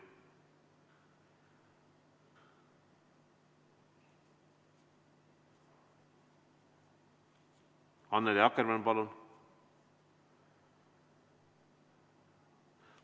Annely Akkermann, palun!